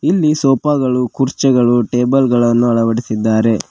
ಇಲ್ಲಿ ಸೋಫಾ ಗಳು ಕುರ್ಚಿಗಳು ಟೇಬಲ್ ಗಳನ ಅಳವಡಿಸಿದ್ದಾರೆ.